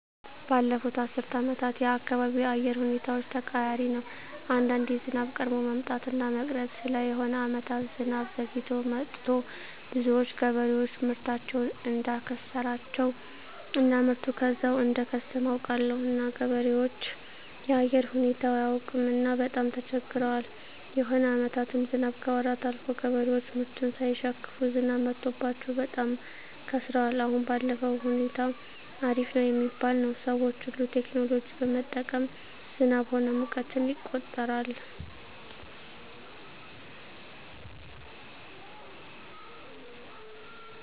ባለፋት አስር አመታት የአካባቢው የአየር ሁኔታዎች ተቀያሪ ነው አንዳንዴ ዝናብ ቀድሞ መምጣት እና መቅረት አለ የሆነ አመታት ዝናብ ዘግይቶ መጥቱ ብዙዎች ገበሬዎች ምርታቸውን እዳከሰራቸው እና ምርቱ ከዛው እደከሰመ አውቃለሁ እና ገበሬዎች የአየር ሁኔታው አያውቅምና በጣም ተቸግረዋል የሆነ አመታትም ዝናብ ከወራት አልፎ ገበሬዎች ምርቱን ሳይሸክፋ ዝናብ መትቶባቸው በጣም ከስረዋል አሁን ባለዉ ሁኔታ አሪፍ ነው ሚባል ነው ሰዎች ሁሉ ቴክኖሎጂ በመጠቀም ዝናብ ሆነ ሙቀትን ይቆጠራል